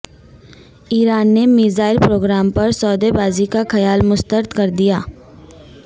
ایران نے missile programme پر سودے بازی کا خیال مسترد کر دیا